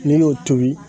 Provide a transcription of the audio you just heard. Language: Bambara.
N'i y'o tobi